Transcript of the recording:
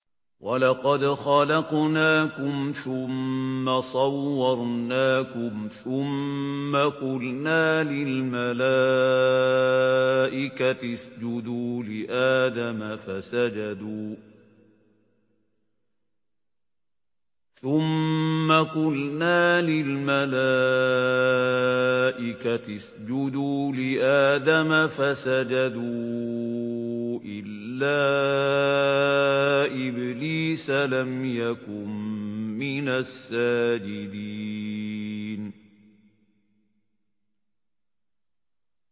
وَلَقَدْ خَلَقْنَاكُمْ ثُمَّ صَوَّرْنَاكُمْ ثُمَّ قُلْنَا لِلْمَلَائِكَةِ اسْجُدُوا لِآدَمَ فَسَجَدُوا إِلَّا إِبْلِيسَ لَمْ يَكُن مِّنَ السَّاجِدِينَ